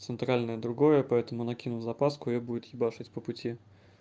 центральное другое поэтому накину запаску её будет ебашить по пути